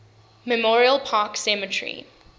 memorial park cemetery